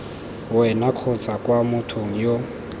wena kgotsa kwa mothong yo